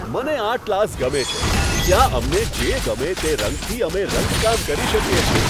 મને art class ગમે છે. ત્યાં અમને જે ગમે તે રંગથી અમે રંગકામ કરી શકીએ છીએ.